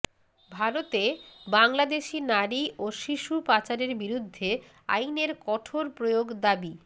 ভারতে বাংলাদেশি নারী ও শিশু পাচারের বিরুদ্ধে আইনের কঠোর প্রয়োগ দাবি